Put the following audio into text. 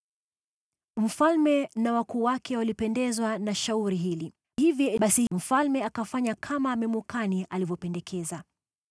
Mfalme na wakuu wake walipendezwa na shauri hili, hivyo basi mfalme akafanya kama Memukani alivyopendekeza.